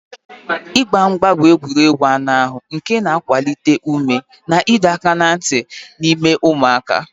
Mgba mgba bụ egwuregwu anụ ahụ nke na-akwalite ume na ịdọ aka ná ntị n'ime ụmụaka.